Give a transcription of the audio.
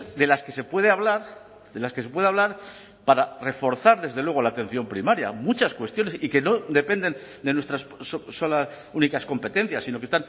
de las que se puede hablar de las que se puede hablar para reforzar desde luego la atención primaria muchas cuestiones y que no dependen de nuestras solas únicas competencias sino que